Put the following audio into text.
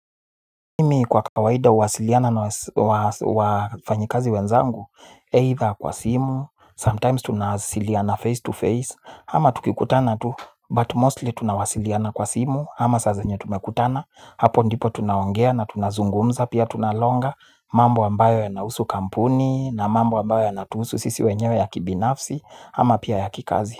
Mimi kwa kawaida uwasiliana na wafanyikazi wenzangu, either kwa simu, sometimes tunawasiliana face to face, ama tukikutana tu, but mostly tunawasiliana kwa simu, ama saa zenye tumekutana, hapo ndipo tunaongea na tunazungumza, pia tunalonga, mambo ambayo yanahusu kampuni, na mambo ambayo yanatuhusu sisi wenyewe ya kibinafsi, ama pia ya kikazi.